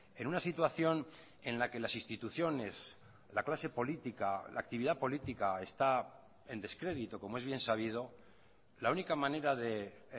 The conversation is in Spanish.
en una situación en la que las instituciones la clase política la actividad política está en descrédito como es bien sabido la única manera de